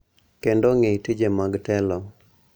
Kendo ng�i tije mag telo.